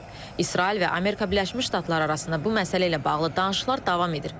İsrail və Amerika Birləşmiş Ştatları arasında bu məsələ ilə bağlı danışıqlar davam edir.